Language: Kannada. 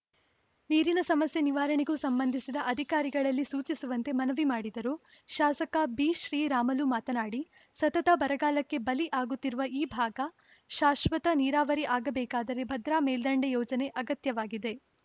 ನೀರಿನ ಸಮಸ್ಯೆ ನಿವಾರಣೆಗೂ ಸಂಬಂಧಿಸಿದ ಅಧಿಕಾರಿಗಳಿಗೆ ಸೂಚಿಸುವಂತೆ ಮನವಿ ಮಾಡಿದರು ಶಾಸಕ ಬಿಶ್ರೀರಾಮುಲು ಮಾತನಾಡಿ ಸತತ ಬರಗಾಲಕ್ಕೆ ಬಲಿ ಆಗುತ್ತಿರುವ ಈ ಭಾಗ ಶಾಶ್ವತ ನೀರಾವರಿ ಆಗಬೇಕಾದರೆ ಭದ್ರಾ ಮೇಲ್ದಂಡೆ ಯೋಜನೆ ಅಗತ್ಯವಾಗಿದೆ